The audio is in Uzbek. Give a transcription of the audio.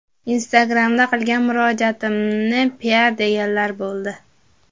Instagram’da qilgan murojaatimni piar deganlar bo‘ldi.